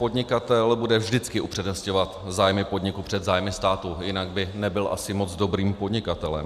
Podnikatel bude vždy upřednostňovat zájmy podniku před zájmy státu, jinak by nebyl asi moc dobrým podnikatelem.